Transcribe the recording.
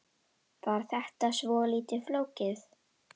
Var þetta svolítið flókið?